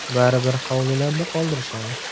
Baribir hovlilarda qoldirishadi”.